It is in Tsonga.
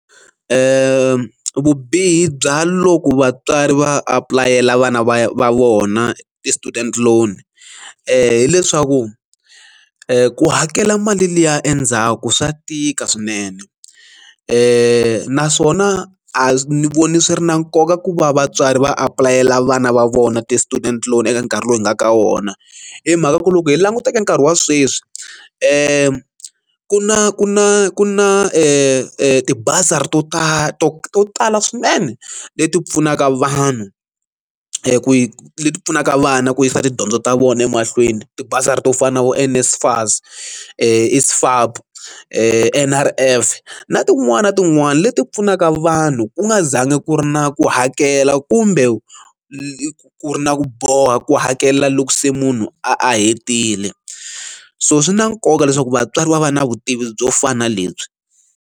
vubihi bya loko vatswari va apulayela vana va vona ti-student loan hileswaku ku hakela mali liya endzhaku swa tika swinene naswona a ni voni swi ri na nkoka ku va vatswari va apulayela vana va vona ti-student loan eka nkarhi lowu hi nga ka wona hi mhaka ku loko hi langutaka nkarhi wa sweswi ku na ku na ku na e ti bazari to tala to to tala swinene leti pfunaka vanhu ku leti pfunaka vana ku yisa tidyondzo ta vona emahlweni ti bazari to fana na vo NSFAS, I_S_F_A_P, N_R_F na tin'wana na tin'wana leti pfunaka vanhu ku nga zangi ku ri na ku hakela kumbe ku ri na ku boha ku hakelela loko se munhu a hetile so swi na nkoka leswaku vatswari va va na vutivi byo fana na lebyi.